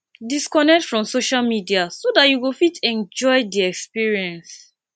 disconnect from social media so dat you go fit enjoy di experience